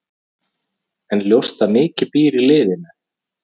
En ljóst að mikið býr í liðinu.